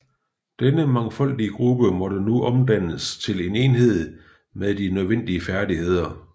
Denne mangfoldige gruppe måtte nu omdannes til en enhed med de nødvendige færdigheder